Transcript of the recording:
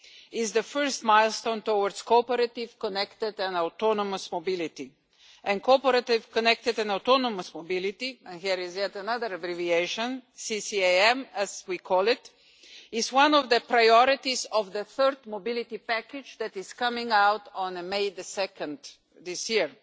is the first milestone towards cooperative, connected and autonomous mobility. And cooperative connected an autonomous mobility and here is yet another abbreviation CCAM as we call it, is one of the priorities of the third mobility package that is coming out on 2 May this year.